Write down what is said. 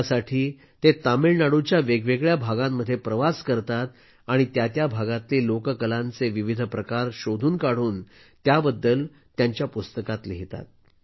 त्यासाठी ते तामिळनाडूच्या वेगवेगळ्या भागांमध्ये प्रवास करतात आणि त्या त्या भागातले लोककलांचे विविध प्रकार शोधून काढून त्याबद्दल पुस्तकात लिहितात